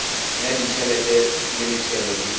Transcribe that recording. ya ditšhelete le metšhelo di